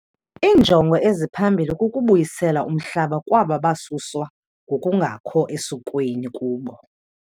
Iinjongo eziphambili kukubuyisela umhlaba kwaba basuswa ngokungakho esikweni kubo.